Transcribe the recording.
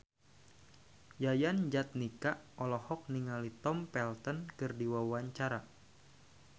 Yayan Jatnika olohok ningali Tom Felton keur diwawancara